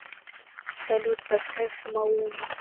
салют поставь малума